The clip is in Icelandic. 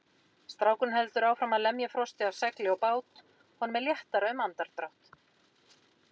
Strákurinn heldur áfram að lemja frostið af segli og bát, honum er léttara um andardrátt.